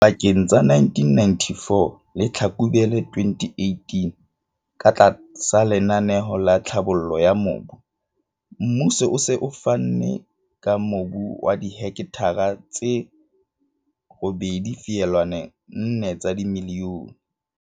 Dipakeng tsa 1994 le Tlhlakubele 2018, katlasa lenaneo la tlhabollo ya mobu, mmuso o se o fane ka mobu wa dihekthara tse 8,4 milione